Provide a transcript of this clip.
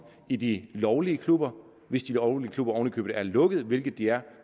i de lovlige klubber hvis de lovlige klubber oven i købet er lukket hvilket de er